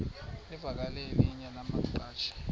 livakele elinye lamaqhaji